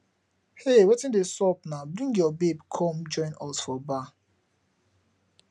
hey wetin dey sup naa bring your babe come join us for bar